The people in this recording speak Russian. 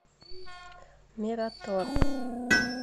мираторг